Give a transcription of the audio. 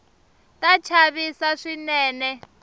ta chavisa swinene